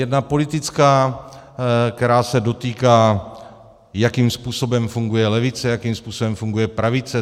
Jedna politická, která se dotýká, jakým způsobem funguje levice, jakým způsobem funguje pravice.